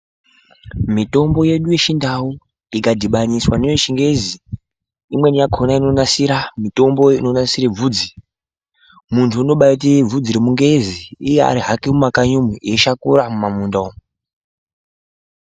Mitombo yedu yechiNdau ikadhibaniswa newechingezi imweni yakona inonasira mitombo inonasire bvudzi. Muntu unobaaite bvudzi remungezi, iye ari hake mumakanyi umwu, eishakura mumamunda umwu.